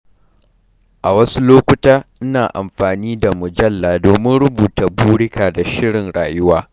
A wasu lokuta, ina amfani da mujalla domin rubuta burika da shirin rayuwa.